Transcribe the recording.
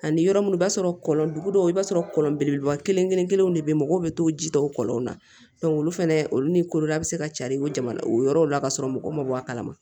Ani yɔrɔ munnu b'a sɔrɔ kɔlɔn dugu dɔw i b'a sɔrɔ kɔlɔn belebeleba kelen kelen kelenw de be yen mɔgɔw be t'o ji tɔ o kɔlɔnw na olu fɛnɛ olu ni kodiyara be se ka carin o jamana o yɔrɔw la ka sɔrɔ mɔgɔw ma bɔ a kalama